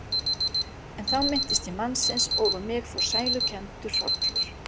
En þá minnist ég mannsins og um mig fer sælukenndur hrollur.